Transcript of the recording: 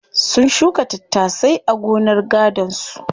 Sun shuka tattasai a gonar gadon su.